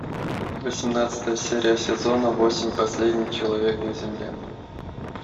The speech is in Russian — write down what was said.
восемнадцатая серия сезона восемь последний человек на земле